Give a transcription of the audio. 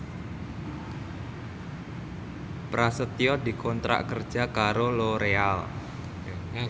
Prasetyo dikontrak kerja karo Loreal